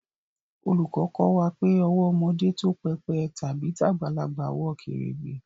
Oluko ko wa pe owó ọmọdé tó pépè tàbí tagbalagbà wọ kèrègbè